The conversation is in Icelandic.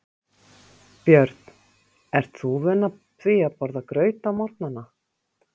Björn: Ert þú vön því að borða graut á morgnanna?